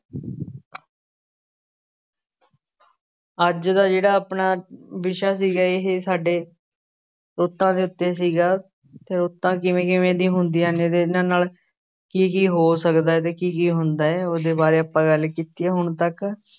ਅੱਜ ਦਾ ਜਿਹੜਾ ਆਪਣਾ ਵਿਸ਼ਾ ਸੀਗਾ ਇਹ ਸਾਡੇ ਰੁੱਤਾਂ ਦੇ ਉੱਤੇ ਸੀਗਾ ਰੁੱਤਾਂ ਕਿਵੇਂ ਕਿਵੇਂ ਦੀਆਂ ਹੁੰਦੀਆਂ ਨੇ ਤੇ ਇਹਨਾਂ ਨਾਲ ਕੀ ਕੀ ਹੋ ਸਕਦਾ ਹੈ ਤੇ ਕੀ ਕੀ ਹੁੰਦਾ ਹੈ ਉਹਦੇ ਬਾਰੇ ਆਪਾਂ ਗੱਲ ਕੀਤੀ ਹੈ ਹੁਣ ਤੱਕ।